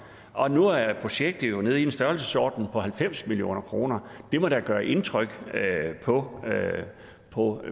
og nu er projektet jo nede i en størrelsesorden på halvfems million kroner det må da gøre indtryk på